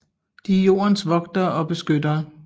De er jordens vogtere og beskyttere